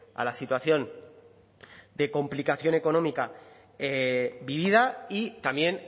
a la situación de complicación económica vivida y también